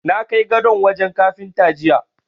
Na kai gadon wajen Kafinta jiya.